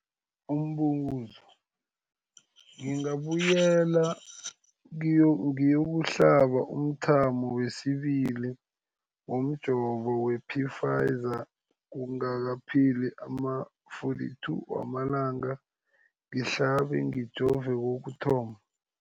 Umbuzo, ngingabuyela ngiyokuhlaba umthamo wesibili womjovo we-Pfizer kungakapheli ama-42 wamalanga ngihlabe, ngijove kokuthoma.